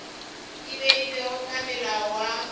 e beilwego ke molao wa